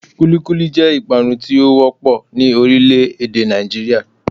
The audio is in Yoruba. Kúlíkúlí jẹ́ ìpanu tí ó wọ́pọ̀ ní orílẹ̀ èdè Nàìjíríà